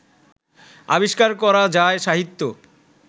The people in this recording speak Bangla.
আবিষ্কার করা যায় সাহিত্যে